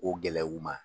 O gɛlɛyaw ma